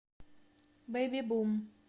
бэйби бум